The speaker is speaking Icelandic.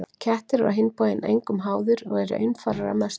Kettir eru á hinn bóginn engum háðir og eru einfarar að mestu.